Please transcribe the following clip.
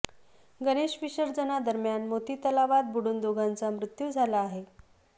गणेश विसर्जना दरम्यान मोती तलावात बुडून दोघांचा मृत्यू झाला आहे